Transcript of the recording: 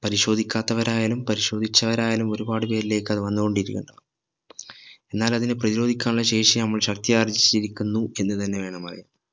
പരിശോധിക്കാത്തവരായാലും പരിശോധിച്ചവരായാലും ഒരുപാട് പേരിലേക്ക് അത് വന്നുകൊണ്ട് ഇരിക്കുന്നുണ്ടാവും എന്നാൽ അതിനെ പ്രതിരോധിക്കാനുള്ള ശേഷി നമ്മൾ ശക്തി ആർജിച്ചിരിക്കുന്നു എന്ന് തന്നെ വേണം പറയാൻ